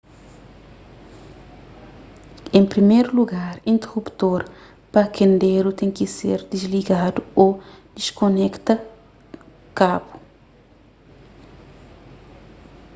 en priméru lugar interuptor pa kenderu ten ki ser disligadu ô diskonekta kabu